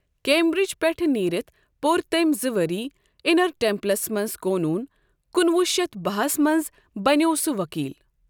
Cambridge پؠٹھٕ نیٖرِتھ پۆر تٔمؠ زٕ ؤری اِنَر ٹیمپلَس مَنٛز قونوٗن کُنہ وُہ شتھ باہ ہس مَنٛز بَنییوو سُہ ؤکیٖل۔